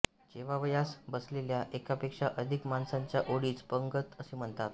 जेवावयास बसलेल्या एकापेक्षा अधिक माणसांच्या ओळीस पंगत असे म्हणतात